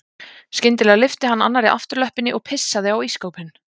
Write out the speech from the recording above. Skyndilega lyfti hann annarri afturlöppinni og pissaði á ísskápinn.